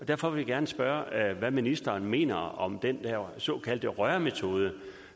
derfor gerne spørge hvad ministeren mener om den der såkaldte rørmetode